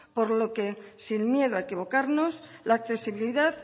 por lo que sin miedo a equivocarnos la accesibilidad